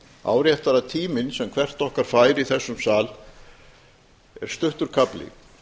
áréttar að tíminn sem hvert okkar fær í þessum sal er stuttur kafli